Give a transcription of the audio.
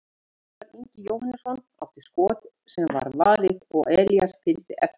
Ævar Ingi Jóhannesson átti skot sem var varið og Elías fylgdi eftir.